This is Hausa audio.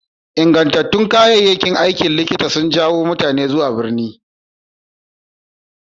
Ingantattun kayayyakin aikin likita sun jawo mutane zuwa birni.